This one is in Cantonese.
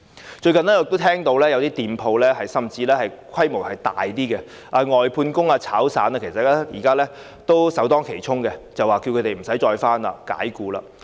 我最近也聽到有些店鋪，甚至是規模較大的，其聘用的外判工或散工現在是首當其衝，僱主着他們不用上班，直接把他們解僱。